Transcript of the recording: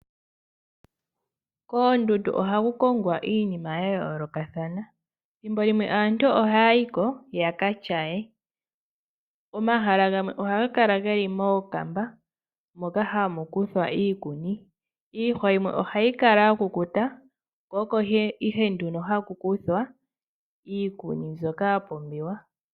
Koondundu ohaku kongwa iinima ya yoolokathana. Thimbo limwe aantu ohaya yiko yaka tyaye. Omahala gamwe ohaga kala ge li mookamba moka hamu kuthwa iikuni. Iihwa yimwe oha yi kala ya kukuta, ko oko nee haku kuthwa iikuni mbyoka ya pumbiwa.